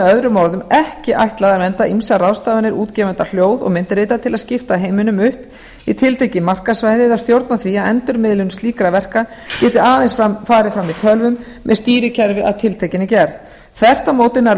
öðrum orðum ekki ætlað að vernda ýmsar ráðstafanir útgefenda hljóð og myndrita til að skipta heiminum upp í tiltekin markaðssvæði eða stjórna því að endurmiðlun slíkra verka geti aðeins farið fram í tölvum með stýrikerfi af tiltekinni gerð þvert á móti nær